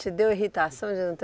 Te deu irritação? de não ter